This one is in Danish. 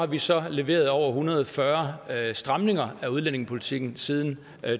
vi så leveret over en hundrede og fyrre stramninger af udlændingepolitikken siden